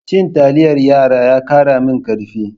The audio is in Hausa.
Cin taliyar yara ya kara min karfi.